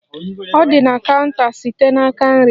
Ọ dị na counta site n'aka nri.